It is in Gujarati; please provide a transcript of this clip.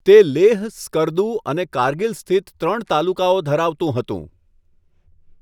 તે લેહ, સ્કર્દુ અને કારગીલ સ્થિત ત્રણ તાલુકાઓ ધરાવતું હતું.